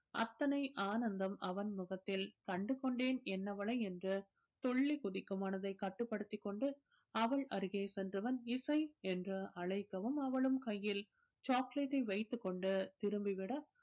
அத்தனை ஆனந்தம் அவன் முகத்தில் கண்டு கொண்டேன் என்னவளை என்று துள்ளி குதிக்கும் மனதை கட்டுப் படுத்திக் கொண்டு அவள் அருகே சென்றவன் இசை என்று அழைக்கவும் அவளும் கையில் chocolate ஐ வைத்துக் கொண்டு திரும்பி விட